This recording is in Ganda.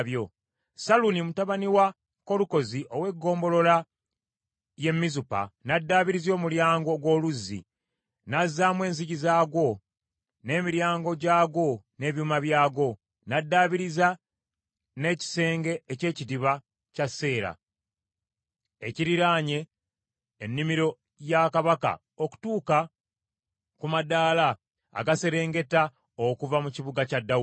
Salluni mutabani wa Kolukoze ow’eggombolola y’e Mizupa n’addaabiriza Omulyango ogw’Oluzzi, n’azzaamu enzigi zaagwo n’emiryango gyagwo n’ebyuma byagwo. N’addaabiriza n’ekisenge eky’Ekidiba kya Seera ekiriraanye ennimiro ya kabaka, okutuuka ku madaala agaserengeta okuva mu kibuga kya Dawudi.